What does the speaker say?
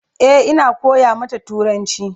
E,Ina koya mata turanci